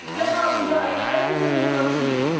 Wir haben hier eine eigene Demokratie.